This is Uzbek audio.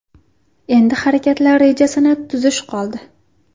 Endi harakatlar rejasini tuzish qoldi.